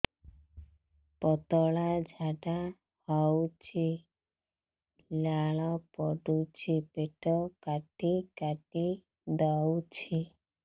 ପତଳା ଝାଡା ହଉଛି ଲାଳ ପଡୁଛି ପେଟ କାଟି କାଟି ଦଉଚି